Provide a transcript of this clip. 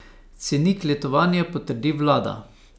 Cenik letovanj potrdi vlada.